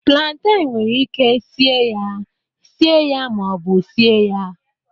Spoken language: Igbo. planten nwere ike sie ya, sie ya ma ọ bụ sie ya